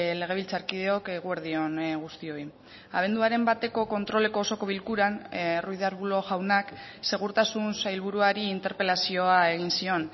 legebiltzarkideok eguerdi on guztioi abenduaren bateko kontroleko osoko bilkuran ruiz de arbulo jaunak segurtasun sailburuari interpelazioa egin zion